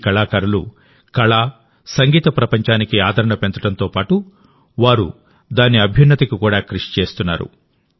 ఈ కళాకారులు కళ సంగీత ప్రపంచానికి ఆదరణ పెంచడంతో పాటు వారు దాని అభ్యున్నతికి కూడా కృషి చేస్తున్నారు